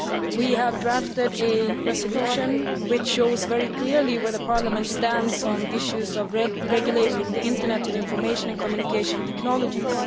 We have drafted a resolution which shows very clearly where the Parliament stands on issues of regulating the internet and information and communication technologies.